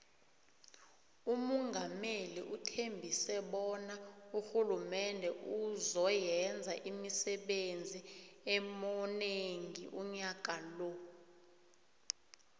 umungameli uthembise bona urhulumende uzo yenza imisebenzi emonengi unyaka lo